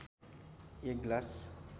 एक ग्लास